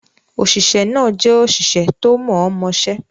Òṣìṣẹ́ náà jẹ́ òṣìṣẹ́ tó mọ̀ọ́mọṣẹ́.